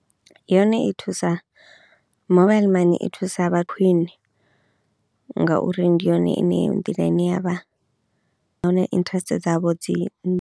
Yone i thusa mobile money i thusa vha khwiṋe ngauri ndi yone ine nḓila ine ya vha huna interest dzavho dzi .